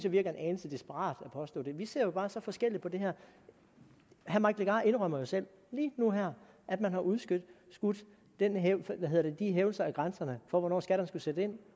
virker en anelse desperat at påstå det vi ser jo bare så forskelligt på det her herre mike legarth indrømmer jo selv lige nu og her at man har udskudt de hævelser af grænserne for hvornår skatterne skulle sætte ind